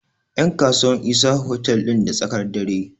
yankasuwa Isa otal din da tsakar dare